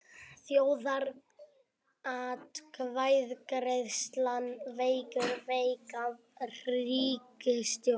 Þjóðaratkvæðagreiðslan veikir veika ríkisstjórn